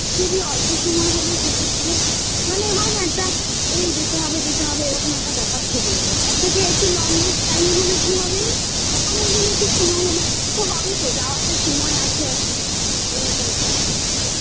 অনেকদিন একটু সময় হল তো হবে তো যাওয়ার তো সময় আছে এখন এরম একটা ব্যাপার